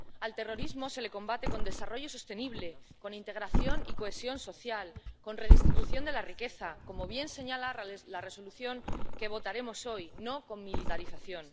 Al terrorismo se le combate con desarrollo sostenible, con integración y cohesión social, con redistribución de la riqueza, como bien señala la Resolución que votaremos hoy, no con militarización.